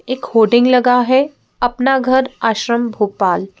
एक होडिंग लगा है अपना घर आश्रम भोपाल।